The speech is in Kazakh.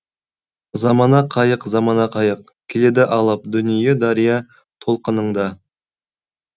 замана қайық замана қайық келеді алып дүние дария толқыныңда